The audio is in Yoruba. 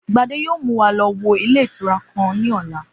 Gbadé yóò mú wa lo̩ wo ilé ìtura kan ní ò̩la